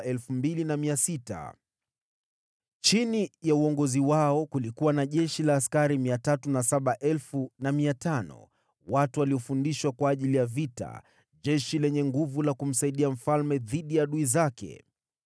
Chini ya uongozi wao kulikuwa na jeshi la askari 307,500 watu waliofundishwa kwa ajili ya vita, jeshi lenye nguvu la kumsaidia mfalme dhidi ya adui zake.